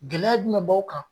Gɛlɛya jumɛn b'aw kan ?